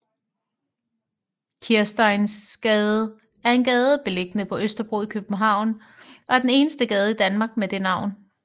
Kirsteinsgade er en gade beliggende på Østerbro i København og er den eneste gade i Danmark med det navn